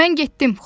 Mən getdim.